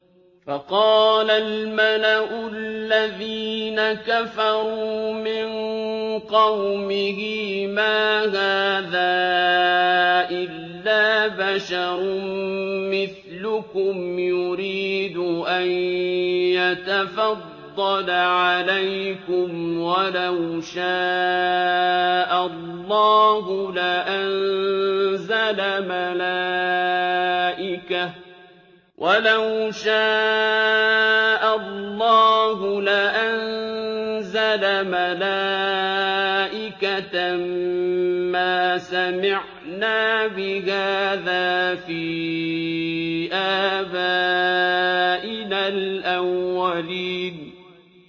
فَقَالَ الْمَلَأُ الَّذِينَ كَفَرُوا مِن قَوْمِهِ مَا هَٰذَا إِلَّا بَشَرٌ مِّثْلُكُمْ يُرِيدُ أَن يَتَفَضَّلَ عَلَيْكُمْ وَلَوْ شَاءَ اللَّهُ لَأَنزَلَ مَلَائِكَةً مَّا سَمِعْنَا بِهَٰذَا فِي آبَائِنَا الْأَوَّلِينَ